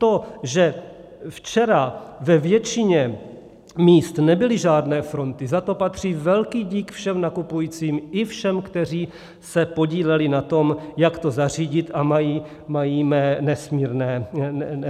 To, že včera ve většině míst nebyly žádné fronty, za to patří velký dík všem nakupujícím i všem, kteří se podíleli na tom, jak to zařídit, a mají mé nesmírné díky za to.